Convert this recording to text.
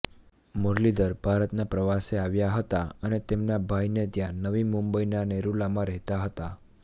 મુરલીધર ભારતના પ્રવાસે આવ્યા હતા અને તેમના ભાઈને ત્યાં નવી મુંબઈના નેરુલમાં રહેતા હતા